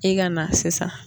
I ka na sisan